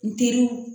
N teriw